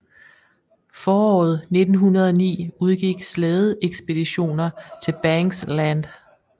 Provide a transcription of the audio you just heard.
Foråret 1909 udgik slædeekspeditioner til Banks Land